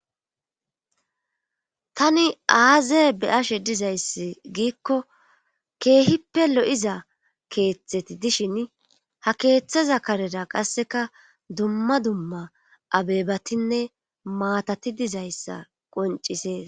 tani aaza be7ashe dizayssi giikko keehippe lo7iza keeththeti dishin ha keeththaza karera qasseka dumma dumma abeebatinne maatati dizayssa qoncisees